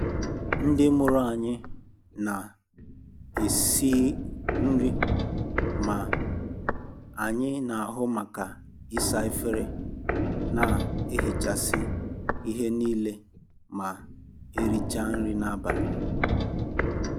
Ndị mụrụ m na esiri nri, ma anyị n'ahu maka isa efere, na ihichasị ihe niile ma erichaa nri abalị.